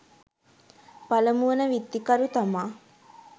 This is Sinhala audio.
පළමු වන විත්තිකරු තමා